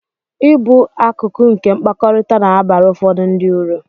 Ịbụ akụkụ nke mkpakọrịta na-abara ụfọdụ ndị ụrụ